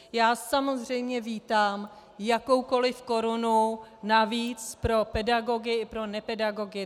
Já samozřejmě vítám jakoukoliv korunu navíc pro pedagogy i pro nepedagogy.